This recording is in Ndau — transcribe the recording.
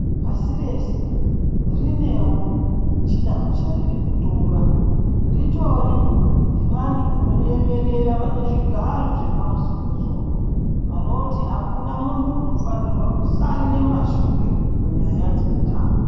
Pasi rese rinewo chidanto chariri kutora ritori nevantu vanoriemerera vane zvigaro zvepamusoro soro vanoti akuna muntu unofanirwa kusarira mashure panyaya dzeutano.